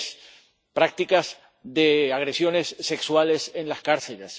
3 prácticas de agresiones sexuales en las cárceles